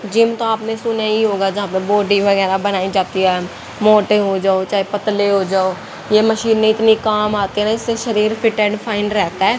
Gym तो आपने सुना ही होगा जहां पर बॉडी वगैरा बनाई जाती है मोटे हो जाओ चाहे पतले हो जाओ ये मशीन न इतनी काम आती हैं इससे शरीर फिट एंड फाइन रहता है।